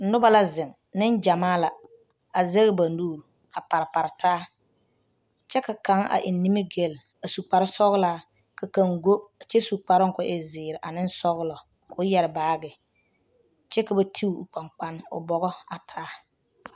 Noba la zeŋ nengyamaa la a zɛge ba nuuri a pare pare taa kyɛ ka kaŋ a eŋ nimigelle a su kparsɔglaa ka kaŋ go kyɛ su kparoo ka o e zeere ane sɔglɔ k,o yɛre baage kyɛ ka ba ti o kpankpane o bɔgɔ a taa.